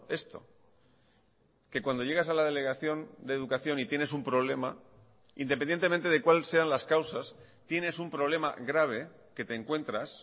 esto que cuando llegas a la delegación de educación y tienes un problema independientemente de cuál sean las causas tienes un problema grave que te encuentras